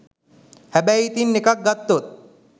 හැබැයි ඉතිං එකක් ගත්තොත්